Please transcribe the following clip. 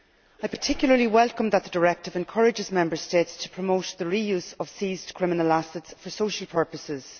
I particularly welcome that the directive encourages Member States to promote the re use of seized criminal assets for social purposes.